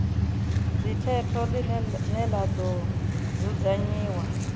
dzikhetho ḽine ḽa ḓo dzudzanyiwa